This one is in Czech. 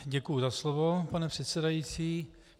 Děkuji za slovo, pane předsedající.